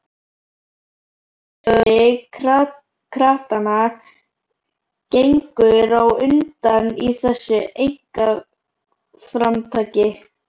Og bæjarstjóri kratanna gengur á undan í þessu einkaframtaki.